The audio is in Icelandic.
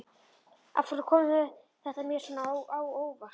Og af hverju kom þetta mér svona á óvart?